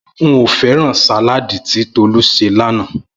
N ò fé̩ràn sàláàdì tí Tolú s̩e lánàá